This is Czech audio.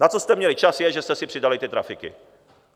Na co jste měli čas, je, že jste si přidali ty trafiky!